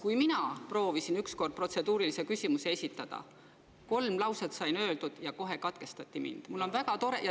Kui ma proovisin ükskord protseduurilise küsimuse esitada, siis sain kolm lauset öeldud, ja kohe mind katkestati.